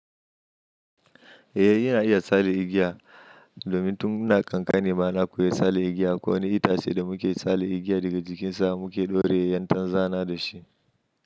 Eh, yana iya tsale igiya domin tun muna kankane ba na koya tsale igiya. Ko wani itace da muke tsale igiya daga jikinsa mu ke ɗore yantan zana da shi.